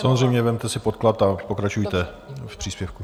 Samozřejmě, vezměte si podklad a pokračujte v příspěvku.